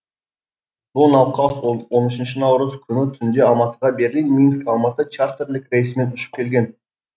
бұл науқас он он үшінші наурыз күні түнде алматыға берлин минск алматы чартерлік рейсімен ұшып келген